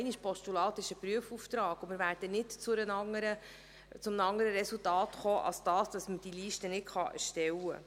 Ein Postulat ist ein Prüfauftrag, und wir werden nicht zu einem anderen Resultat kommen als dem, dass man diese Liste nicht erstellen kann.